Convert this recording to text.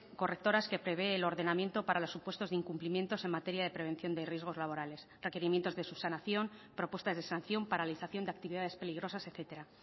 correctoras que prevé el ordenamiento para los supuestos de incumplimientos en materia de prevención de riesgos laborales requerimientos de subsanación propuestas de sanción paralización de actividades peligrosas etcétera